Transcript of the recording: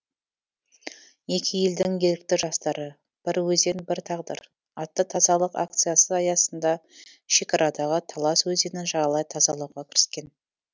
екі елдің ерікті жастары бір өзен бір тағдыр атты тазалық акциясы аясында шекарадағы талас өзенін жағалай тазалауға кіріскен